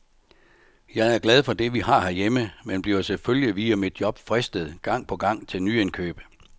Jeg er glad for det, vi har herhjemme, men bliver selvfølgelig via mit job fristet gang på gang til nyindkøb.